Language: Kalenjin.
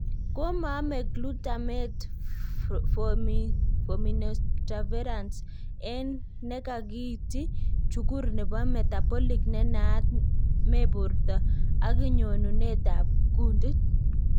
Komaame glutamate formiminotransferase en ne kakiinti chukur neebo metabolic ne naa, me borto ak nyonunutab kuntit.